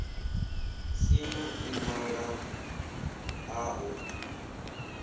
si na ḽiṅwalo ḽa u